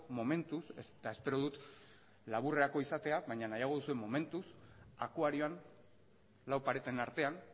momentuz eta espero dut laburrerako izatea akuarioan lau pareten artean